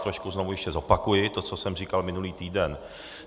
Trošku znovu ještě zopakuji to, co jsem říkal minulý týden.